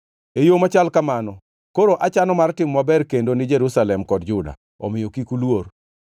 “E yo machal kamano, koro achano mar timo maber kendo ni Jerusalem kod Juda, omiyo kik uluor.